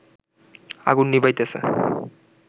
আগুন নিবাইতেছে